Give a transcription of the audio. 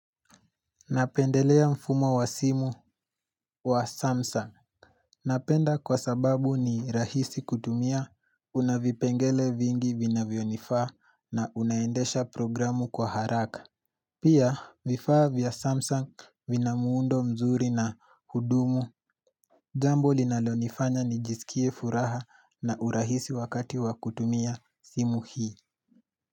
Napendelea mfumo wa simu wa Samsung Napenda kwa sababu ni rahisi kutumia, una vipengele vingi vinavyo nifaa na unaendesha programu kwa haraka Pia vifaa vya Samsung vina muundo mzuri na hudumu Jambo linalo nifanya nijisikie furaha na urahisi wakati wa kutumia simu hii.